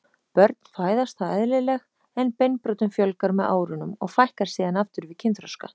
Börn fæðast þá eðlileg en beinbrotum fjölgar með árunum og fækkar síðan aftur við kynþroska.